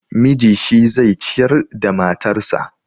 Miji shi zai ciyar da matarsa.